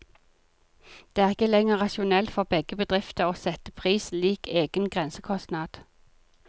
Det er ikke lenger rasjonelt for begge bedrifter å sette pris lik egen grensekostnad.